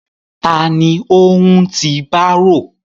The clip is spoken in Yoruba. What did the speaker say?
Ta ni ó ń ti bárò?